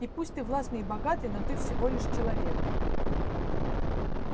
и пусть ты властный и богатый но ты всего лишь человек